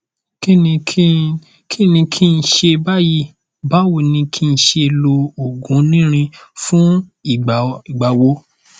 kíni kí kíni kí n ṣe báyìí báwo ni kí n ṣe lo oògùn onírin fún ìgbà o ìgbà wo